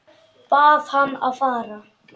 Bað hann að fara.